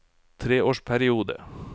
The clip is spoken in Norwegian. treårsperiode